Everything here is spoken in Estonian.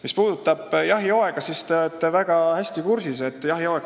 Mis puudutab jahihooaega, siis te olete väga hästi kursis.